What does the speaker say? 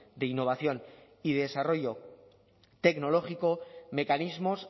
de innovación y desarrollo tecnológico mecanismos